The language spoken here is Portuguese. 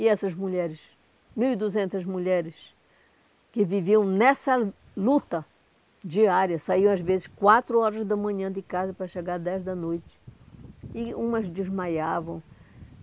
E essas mulheres, mil e duzentas mulheres, que viviam nessa luta diária, saíam às vezes quatro horas da manhã de casa para chegar dez da noite, e umas desmaiavam.